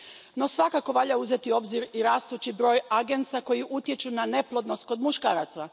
No svakako valja uzeti u obzir i rastući broj agensa koji utječu na neplodnost kod muškaraca.